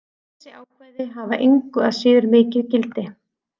Þessi ákvæði hafa engu að síður mikið gildi.